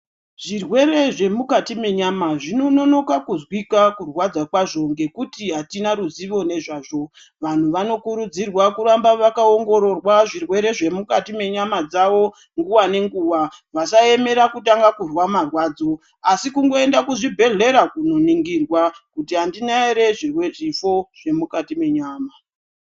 Zvirere zvemukati menyama zvinonoka kuzwika kurwadza kazvo ngekuti hatina ruzivo nezvazvo. Vantu vanokurudzirwa kuramba vakaongororwa zvirwere zvemukati mwenyama dzavo nguva nenguva. Vasaemera kutanga kuzwa marwadzo asi kungoenda kuzvibhedhlera kunoningirwa kuti handina ere zvifo zvemukati menyama.